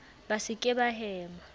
ba se ke ba hema